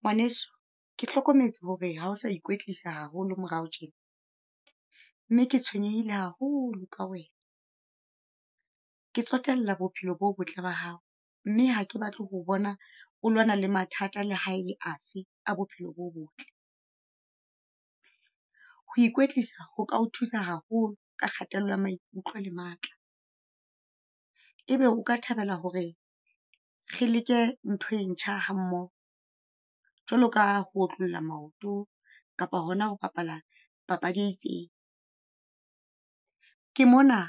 Ngwaneso, ke hlokometse hore ha o sa ikwetlisa haholo morao tjena mme ke tshwenyehile haholo ka wena. Ke tsotella bophelo bo botle ba hao, mme hake batle ho bona, o lwana le mathata le ha ele afe a bophelo bo botle. Ho ikwetlisa ho thusa haholo ka kgatello ya maikutlo le matla. Ebe o ka thabela hore re leke ntho e ntjha ha mmoho, jwalo ka ho otlolla maoto, kapa hona ho bapala papadi e itseng? ke mona